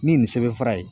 Ni nin sɛbɛn fura ye